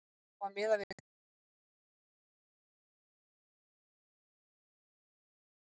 Á að miða við hversu margar síður skattalögin eru í lagasafninu?